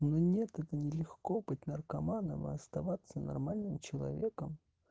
но нет это нелегко быть наркоманом и оставаться нормальным человеком